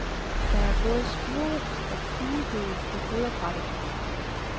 Der er både spurve og duehøge på foderbrættet.